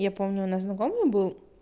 я помню у нас знакомый был